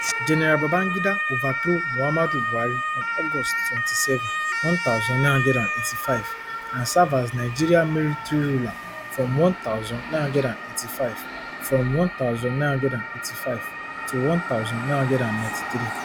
gen babangida overthrow muhammadu buhari on august twenty-seven one thousand, nine hundred and eighty-five and serve as nigeria military ruler from one thousand, nine hundred and eighty-five from one thousand, nine hundred and eighty-five to one thousand, nine hundred and ninety-three